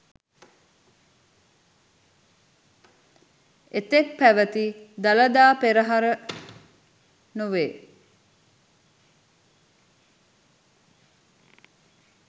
එතෙක් පැවැති දළදා පෙරහර නොවේ.